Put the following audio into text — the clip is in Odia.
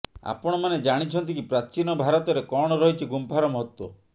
ଆପଣମାନେ ଜାଣିଛନ୍ତି କି ପ୍ରାଚୀନ ଭାରତରେ କଣ ରହିଛି ଗୁମ୍ଫାର ମହତ୍ବ